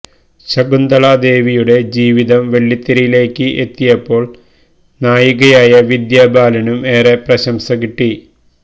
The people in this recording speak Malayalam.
ശകുന്തള ദേവിയുടെ ജീവിതം വെള്ളിത്തിരയിലേക്ക് എത്തിയപ്പോള് നായികയായ വിദ്യാ ബാലനും ഏറെ പ്രശംസ കിട്ടി